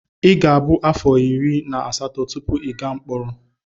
Ị ga-abụ afọ iri na asatọ tupu ị gaa mkpọrọ.